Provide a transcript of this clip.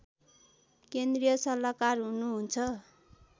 केन्द्रीय सल्लाहकार हुनुहुन्छ